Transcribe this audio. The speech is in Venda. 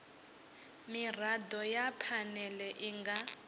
mirado ya phanele i nga